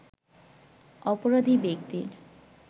অপরাধী ব্যক্তির